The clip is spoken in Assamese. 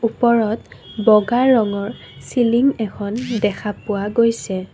ওপৰত বগা ৰঙৰ চিলিং এখন দেখা পোৱা গৈছে।